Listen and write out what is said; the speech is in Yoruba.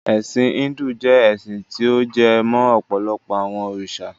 Ẹ̀sin Híndù jẹ́ ẹ́sin ti ó jẹ mó ọ̀pọ̀lọpọ àwọn òrìṣà.